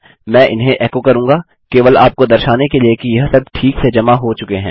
मैं इन्हें एको करूँगा केवल आपको दर्शाने के लिए कि यह सब ठीक से जमा हो चुके हैं